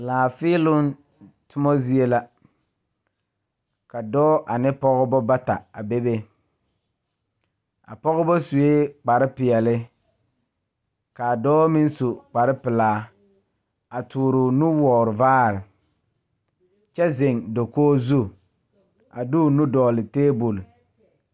Laafèèloŋ tommo zie la ka dɔɔ ane pɔgeba bata a bebe a pɔgebɔ suee kparepeɛle kaa dɔɔ meŋ su kparepelaa a tooroo nuwoore vaare kyɛ zeŋ dokoge zu a de o nu dɔgle tabole.